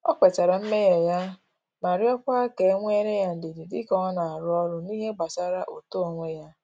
Ọ kwetara mmehie ya ma rịọkwa ka e nwele ya ndidi dika ọ na-arụ ọrụ n’ihe gbasara uto onwe ya